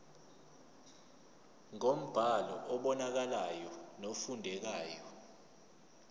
ngombhalo obonakalayo nofundekayo